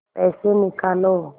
पैसे निकालो